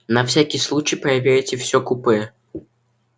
на всякий случай проверьте всё купе